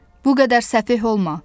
Bu qədər səfeh olma!